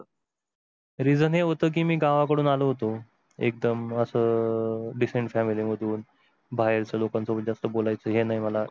reason हे होत की मी गांवांकडून आलो होतो एकदम आस अह decent family मधून बाहेरच्या लोकांशी बोलायच हे नाही मला